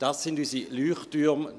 Das sind unsere Leuchttürme.